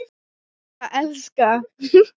Til að elska.